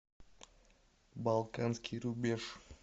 балканский рубеж